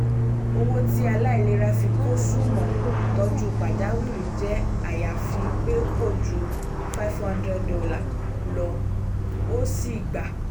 owó tí aláìlera fi kó sún mọ́ ìtọju pajawiri jẹ́ àyàfi pé kò ju five hundred dollar lọ ó ṣeé gbà